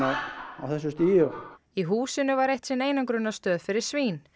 á þessu stigi í húsinu var eitt sinn einangrunarstöð fyrir svín